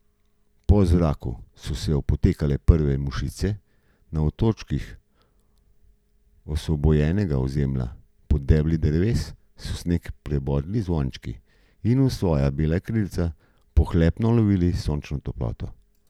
Po zraku so se opotekale prve mušice, na otočkih osvobojenega ozemlja pod debli dreves so sneg prebodli zvončki in v svoja bela krilca pohlepno lovili sončno toploto.